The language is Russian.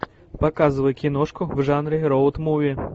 показывай киношку в жанре роуд муви